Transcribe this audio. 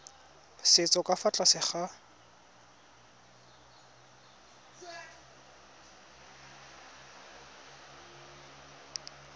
setso ka fa tlase ga